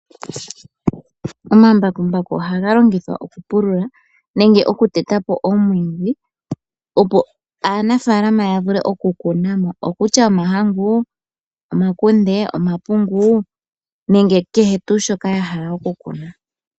Omambakumbaku ohaga longithwa okupulula nenge okutetapo omwiidhi ,opo aanafaalama yavule okukunamo okokutya omahangu, omakunde, omapungu nenge kehe tuu shoka yahala okukuna.